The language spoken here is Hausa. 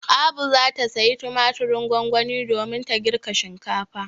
Abu za ta sayi tumatirin gongoni domin ta girka shinkafa.